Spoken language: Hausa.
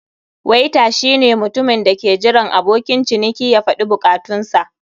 Waiter shine mutumin da ke jiran abokin ciniki ya faɗi bukatunsa.